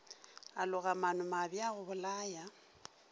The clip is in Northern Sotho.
a loga maanomabe a gobolaya